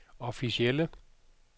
officielle